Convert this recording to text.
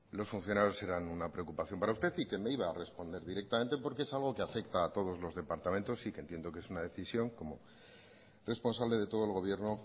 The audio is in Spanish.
los funcionarios eran una preocupación para usted y que me iba a responder directamente porque es algo que afecta a todos los departamentos y que entiendo que es una decisión que como responsable de todo el gobierno